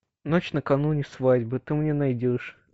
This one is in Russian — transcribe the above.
ночь накануне свадьбы ты мне найдешь